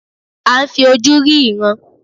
À ń fi ojú rí ìran.